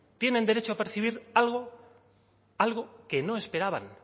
tienen derecho a percibir algo que no esperaban